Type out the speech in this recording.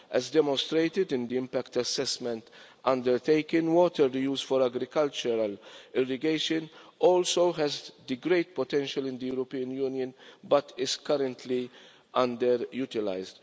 As demonstrated in the impact assessment undertaken, water reuse for agricultural irrigation also has great potential in the European Union but it is currently underutilised.